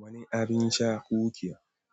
Wani abin sha kuke?